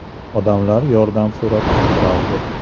Odamlar yordam so‘rab qichqirardi.